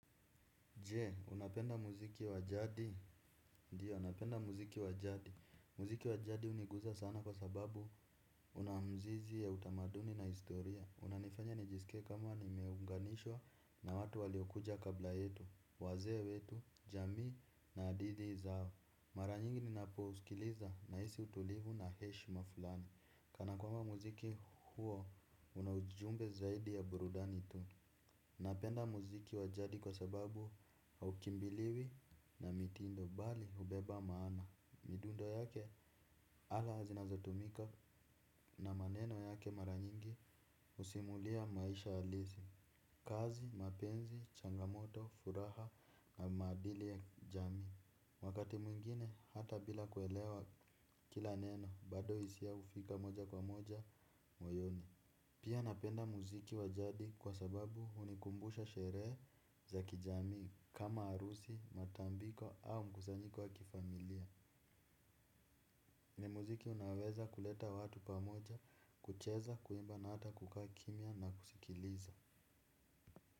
Jee, unapenda muziki wa jadi, ndiyo napenda muziki wa jadi, muziki wa jadi huniguza sana kwa sababu huna mzizi ya utamaduni na historia unanifanya nijisikie kama nimeunganishwa na watu waliokuja kabla yetu, wazee wetu, jamii na hadithi zao mara nyingi ninapousikiliza nahisi utulivu na heshima fulani, kana kwamba muziki huo una ujumbe zaidi ya burudani tu. Napenda muziki wa jadi kwa sababu haukimbiliwi na mitindo bali ubeba maana. Midundo yake ala zinazotumika na maneno yake mara nyingi usimulia maisha alisi. Kazi, mapenzi, changamoto, furaha na maadili ya jamii. Wakati mwingine hata bila kuelewa kila neno bado hisia hufika moja kwa moja moyoni. Pia napenda muziki wa jadi kwa sababu unikumbusha sherehe za kijamii kama arusi, matambiko au mkuzanyiko wa kifamilia. Ni muziki unaweza kuleta watu pamoja, kucheza, kuimba na hata kukaa kimya na kusikiliza.